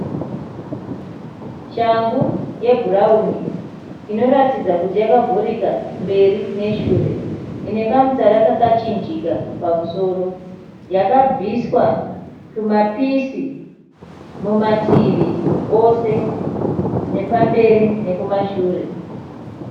Shangu yebhurawuni inoratidza kuti yakuvhurika mberi neshure. Ine kamutsara kakachinjika pamusoro. Yakabviswa tumapisi mumativi ose nepamberi nekumashure.